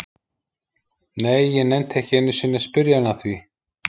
Nei, ég nennti ekki einu sinni að spyrja hann að því